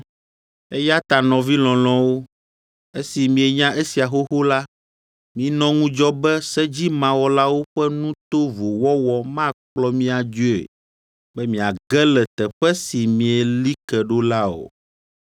Eya ta nɔvi lɔlɔ̃wo, esi mienya esia xoxo la, minɔ ŋudzɔ be sedzimawɔlawo ƒe nu tovo wɔwɔ makplɔ mi adzoe, be miage le teƒe si mieli ke ɖo la o.